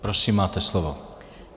Prosím, máte slovo.